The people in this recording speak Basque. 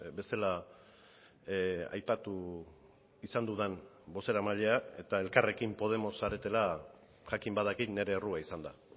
bezala aipatu izan dudan bozeramailea eta elkarrekin podemos zaretela jakin badakit nire errua izan da